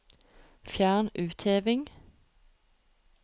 Fjern utheving